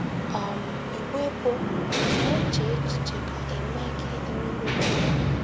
“ um Igbe bụ́ ‘ Ị̀ Na - eche Echiche Ka E Mee Gị mmirichukwu? ’